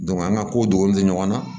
an ka ko dogolenw de ɲɔgɔn na